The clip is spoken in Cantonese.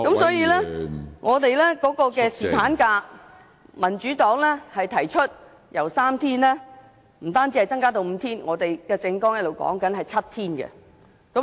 所以，民主黨提出侍產假不止由3天增至5天，我們的政網提倡7天侍產假。